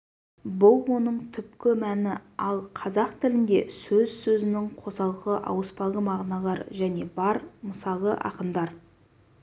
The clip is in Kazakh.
бұл оның түпкі мәні ал қазақ тілінде сөз сөзінің қосалқы ауыспалы мағыналары және бар мысалы ақындар